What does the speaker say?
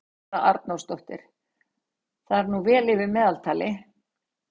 Þóra Arnórsdóttir: Það er nú vel yfir meðaltali?